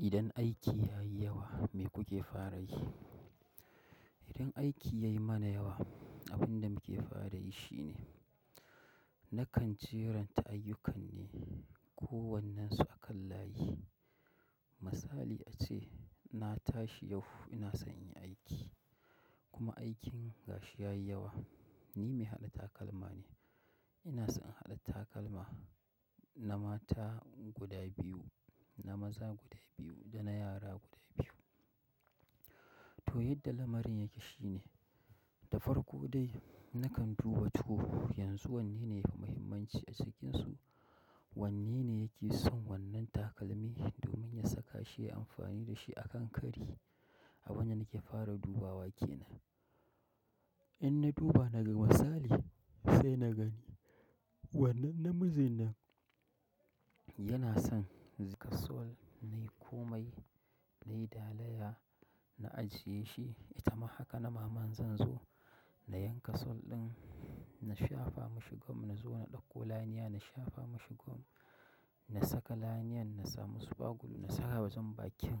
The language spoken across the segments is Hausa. Idan aiki ya yi yawa me kuke fara yi? Idan aiki ya yi mana yawa abin da muke fara yi shine, nakan jeranta ayyukan ne ko wannen su akan layi. Misali ace na tashi yau ina son inyi aiki kuma aikin gashi ya yi yawa. Ni mai haɗa takalma ne. Ina son haɗa takalma na mata guda biyu, na maza guda biyu da na yara guda biyu. To yadda lamarin yake shine, da farko dai nakan duba to yanzu wanne ne yafi muhimmanci a cikinsu, wanne ne yake son wannan takalmi domin ya saka shi ya yi amfani da shi a kan kari. Abin da nake fara dubawa kenan. In na duba na ga misali sai na gani wannan namiji nan yana son zai ga sol nai komai nai dalaya na ajiye shi, ita ma haka na maman zan zo na yanka sol ɗin, na shafa mashi gum, na zo na ɗauko laniya, na shafa mashi gum, na saka laniyan, na samu super glue na sa a wajen bakin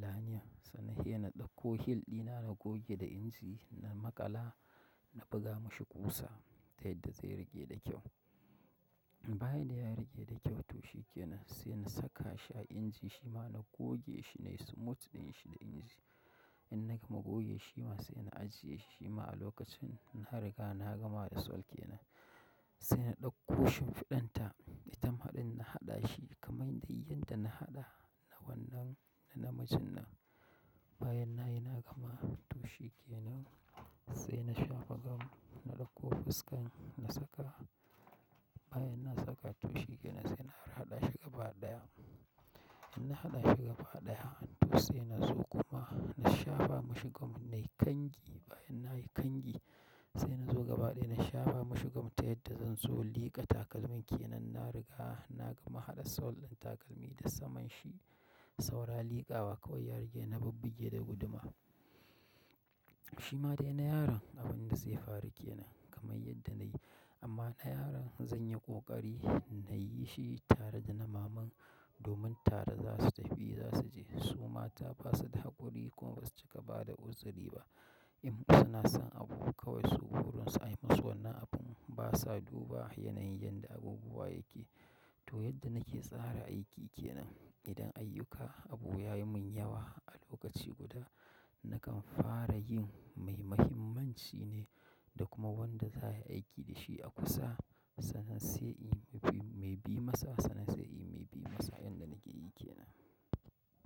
laniyan sannan sai na ɗauko heel ɗina na goge da inji, na maƙala na buga mashi ƙusa ta yadda zai riƙe da kyau. Baya da ya riƙe da kyau, to shikenan se na sakashi a anji, shima na goge shi, nayi smooth ɗinshi da engine. In na gama goge shi, shima se na ajiyeshi shima a lokacin, na riga na gama da sol kenan, se na ɗauko shimfiɗan ta, ita ma ɗin na haɗa shi kaman dai yanda na haɗa na wannan na namiji nan. Bayan na yi na gama to shikenan sai na shafa gum na ɗauko fuskan na saka. Bayan na saka to shi ke nan sai na har haɗa shi gaba ɗaya. In na haɗa shi gaba ɗaya, to sai na zo kuma na shafa mashi gum, nai kangi bayan na yi kangi sai na zo gaba ɗaya na shafa mashi gum ta yadda zan zo in liƙa takalmin ke nan, na riga na gama haɗa sol ɗin takalmi da saman shi saura liƙawa kawai ya rage na bubbuge da guduma. Shi ma dai na yaron abin da zai faru ke nan kamar yadda na yi amma na yaron zan yi ƙoƙari na yi shi tare da na maman. Domin tare za su tafi za su je. Su mata ba su da haƙuri kuma ba su cika ba da uzuri ba. In suna son abu kawai su burin su an yi musu wannan abun ba sa duba yanayin yanda abubuwa yake. To yadda nake tsara aiki ke nan, idan ayyuka abu ya yi mun yawa a lokaci guda, nakan fara yin mai muhimmanci ne da kuma wanda za a yi aiki da shi a kusa sannan sai in yi mai bi masa, sannan sai in yi mai bi masa, yanda nake yi kenan.